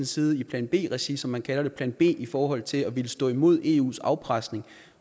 side i plan b regi som man kalder det plan b i forhold til at ville stå imod eus afpresning